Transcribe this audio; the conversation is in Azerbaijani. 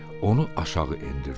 Onu aşağı endirdi.